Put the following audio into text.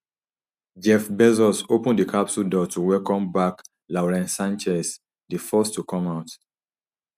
jeff bezos open di capsule door to welcome back lauren snchez di first to come out